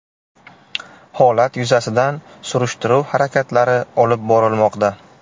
Holat yuzasidan surishtiruv harakatlari olib borilmoqda.